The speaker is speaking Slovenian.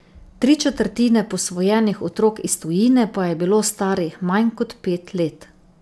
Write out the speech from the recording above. Tri četrtine posvojenih otrok iz tujine pa je bilo starih manj kot pet let.